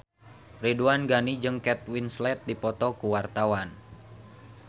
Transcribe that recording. Ridwan Ghani jeung Kate Winslet keur dipoto ku wartawan